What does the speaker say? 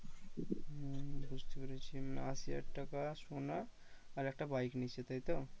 হম বুঝতে পেরেছি মানে আশি হাজার টাকা সোনা আর একটা bike নিচ্ছে তাই তো?